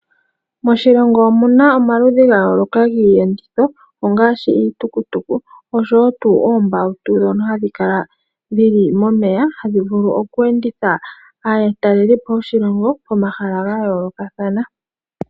Moshilongo omu na omaludhi ga yooloka giiyenditho ngaashi iitukutuku noombawutu dhoka hadhi kala momeya hadhi vulu okwenditha aatelelipo komahala ga yoolokathana.